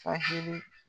Fali